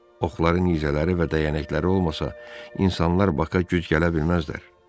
Oxları, nizələri və dəyənəkləri olmasa, insanlar Baka güc gələ bilməzlər.